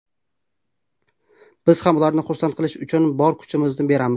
Biz ham ularni xursand qilish uchun bor kuchimizni beramiz.